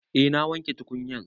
Eh na wanke tukunyar